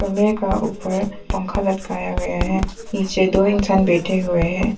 कमरे का ऊपर पंखा लटकाया गया है नीचे दो इंसान बैठे हुए हैं।